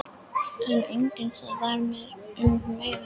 En einnig það varð mér um megn.